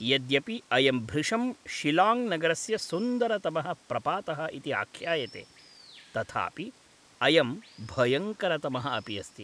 यद्यपि अयं भृशं शिलाङ्ग् नगरस्य सुन्दरतमः प्रपातः इति आख्यायते तथापि अयं भयङ्करतमः अपि अस्ति।